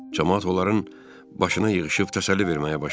Camaat onların başına yığışıb təsəlli verməyə başladı.